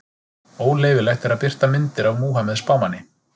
Óleyfilegt er að birta myndir af Múhameð spámanni.